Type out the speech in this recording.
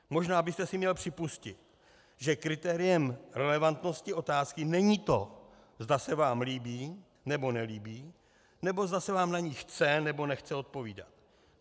Možná byste si měl připustit, že kritériem relevantnosti otázky není to, zda se vám líbí, nebo nelíbí, nebo zda se vám na ni chce, nebo nechce odpovídat.